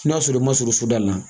N'a sɔrɔ i ma surun da la